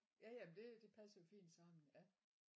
Ja ja men det det passede jo fint sammen ja